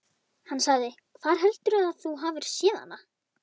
Hann sagði: Hvar heldurðu að þú hafir séð hana?